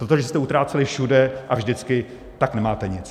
Protože jste utráceli všude a vždycky, tak nemáte nic.